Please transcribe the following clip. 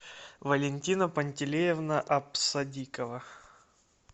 валентина пантелеевна апсадикова